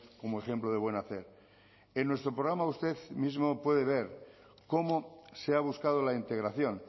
como ejemplo de buen hacer en nuestro programa usted mismo puede ver cómo se ha buscado la integración